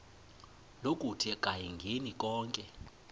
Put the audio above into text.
lokuthi akayingeni konke